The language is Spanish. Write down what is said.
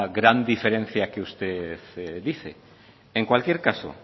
gran diferencia que usted dice en cualquier caso